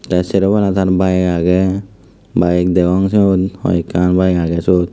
tey seropala tar bike aagey bayek degong swot hoekan bayek agey suot.